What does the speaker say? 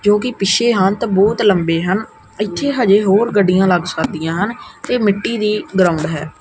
ਜੋ ਕਿ ਪਿੱਛੇ ਹਨ ਤੇ ਬਹੁਤ ਲੰਬੇ ਹਨ। ਇੱਥੇ ਹਜੇ ਹੋਰ ਗੱਡੀਆਂ ਲੱਗ ਸਕਦੀਆਂ ਹਨ ਤੇ ਮਿੱਟੀ ਦੀ ਗਰਾਉਂਡ ਹੈ।